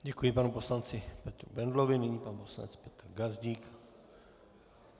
Děkuji panu poslanci Petru Bendlovi, nyní pan poslanec Petr Gazdík.